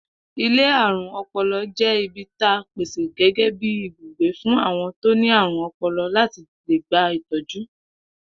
Ilé àrùn o̩po̩lo̩ jé̩ ibi ta pèsè gé̩gé̩ bí ibùgbé fún àwo̩n tó ní àrùn o̩po̩lo̩ láti lè gba ìtọ́jú